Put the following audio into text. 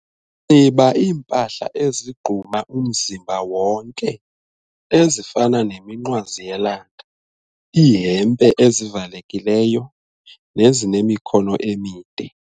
Nxiba iimpahla ezigquma umzimba wonke ezifana neminqwazi yelanga, iihempe ezivalekileyo nezinemikhono emide.